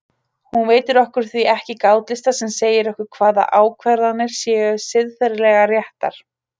Hún veitir okkur því ekki gátlista sem segja okkur hvaða ákvarðanir séu siðferðilega réttar.